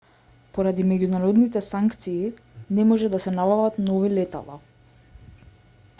поради меѓународните санкции не може да се набават нови летала